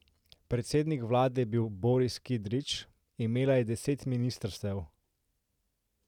Predsednik vlade je bil Boris Kidrič, imela je deset ministrstev.